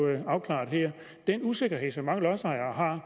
afklaret her er den usikkerhed som mange lodsejere har